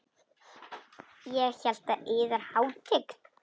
Ég hélt að yðar hátign.